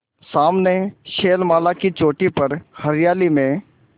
सामने शैलमाला की चोटी पर हरियाली में